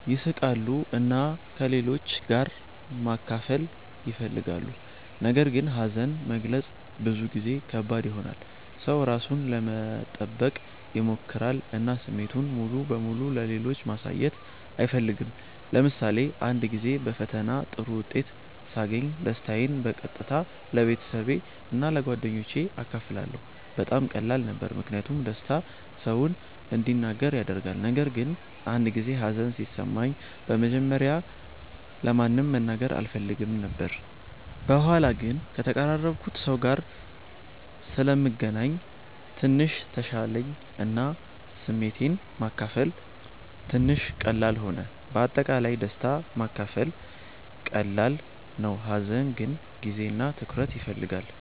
ይስቃሉ እና ከሌሎች ጋር ማካፈል ይፈልጋሉ። ነገር ግን ሀዘን መግለጽ ብዙ ጊዜ ከባድ ይሆናል። ሰው ራሱን ለመጠበቅ ይሞክራል እና ስሜቱን ሙሉ በሙሉ ለሌሎች ማሳየት አይፈልግም። ለምሳሌ አንድ ጊዜ በፈተና ጥሩ ውጤት ሳገኝ ደስታዬን በቀጥታ ለቤተሰቤ እና ለጓደኞቼ አካፈልኩ። በጣም ቀላል ነበር ምክንያቱም ደስታ ሰውን እንዲናገር ያደርጋል። ነገር ግን አንድ ጊዜ ሀዘን ሲሰማኝ በመጀመሪያ ለማንም መናገር አልፈልግም ነበር። በኋላ ግን ከተቀራረብኩት ሰው ጋር ስለምገናኝ ትንሽ ተሻለኝ እና ስሜቴን ማካፈል ትንሽ ቀላል ሆነ። በአጠቃላይ ደስታ ማካፈል ቀላል ነው፣ ሀዘን ግን ጊዜ እና ትኩረት ይፈልጋል።